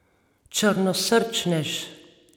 Črnosrčnež.